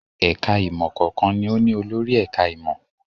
Ẹ̀ka-ìmọ̀ kọ̀ọ̀kan ni ó ní olórí ẹ̀ka-ìmọ̀.